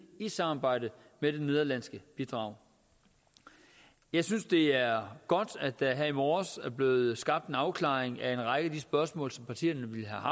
i samarbejde med det nederlandske bidrag jeg synes det er godt at der her i morges er blevet skabt en afklaring af en række af de spørgsmål som partierne